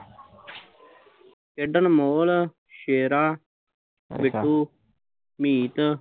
ਖੇਡਣ ਮੋਲ, ਸ਼ੇਰਾ, ਬਿੱਟੂ, ਮੀਤ